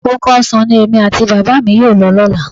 Oko ọsàn ni èmi àti Bàbá mi yóò lọ lọ́la